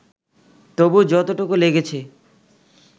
তবু যতটুকু লেগেছে